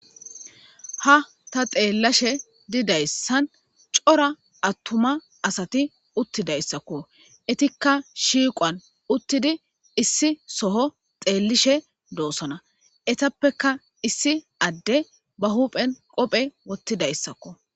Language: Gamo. Ha ta xeellashe didayssan cora attuma asati uttidayssakko etikka shiiqoan uttidi issi soho xeellishe doosona etappeka issi adde ba huphen qophe wottidayssakko.